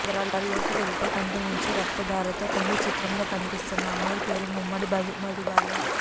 వివరాల్లోకి వెళితే కంటి నుంచి రక్త ధారతో కింది చిత్రంలో కనిపిస్తున్న అమ్మాయి పేరు ముమ్మడి మధుబాల